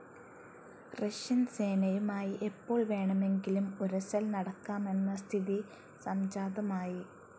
Russian സേനയുമായി എപ്പോൾ വേണമെങ്കിലും ഉരസൽ നടക്കാമെന്ന സ്ഥിതി സംജാതമായി.